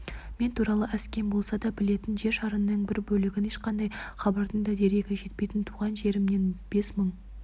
мен туралы аз-кем болса да білетін жер шарының бір бөлігін ешқандай хабардың да дерегі жетпейтін туған жерімнен бес мың